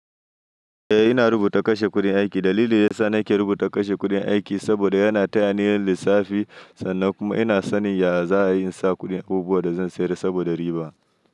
Eh ina rubuta kashe kuɗin aiki. Dalili da yasa nake rubuta kashe kuɗin aiki saboda yana tayani yin lissafi sannan kuma ina sanin yaya za'a yi insa kuɗin abubuwan da zan sayar saboda riba.